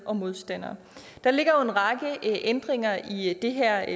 og modstandere der ligger jo en række ændringer i det her